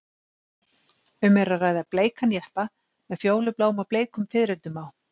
Um er að ræða bleikan jeppa með fjólubláum og bleikum fiðrildum á.